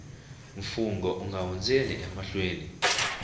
mfungho u nga hundzeli emahlweni